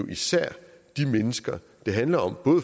især de mennesker det handler om